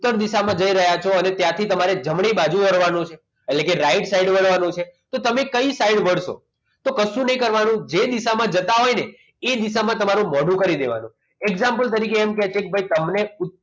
ઉત્તર દિશામાં જઈ રહ્યા છો અને ત્યાંથી તમને જમણી બાજુ વળવાનું છે એટલે કે right side વળવાનું છે તો તમે કઈ સાઈડ મળશો તો કશું નહિ કરવાનું જે દિશામાં જતા હોય ને એ દિશામાં તમારું મોડું કરી દેવાનું example તરીકે એમ કે છે કે તમને ઉત્તર